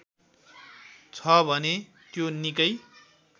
छ भने त्यो निकै